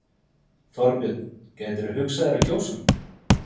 Þorbjörn: Gætirðu hugsað þér að kjósa hann?